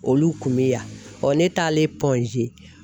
Olu kun be yan ,ɔ ne taalen